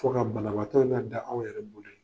Ko ka banabatɔ la da aw yɛrɛ bolo ye